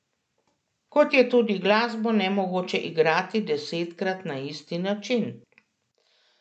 Kot je tudi glasbo nemogoče igrati desetkrat na isti način.